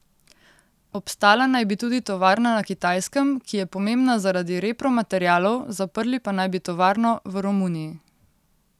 Obstala naj bi tudi tovarna na Kitajskem, ki je pomembna zaradi repromaterialov, zaprli pa naj bi tovarno v Romuniji.